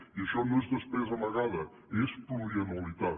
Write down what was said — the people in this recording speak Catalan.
i això no és despesa amagada és plurianualitat